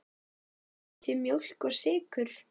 Viljið þið mjólk og sykur?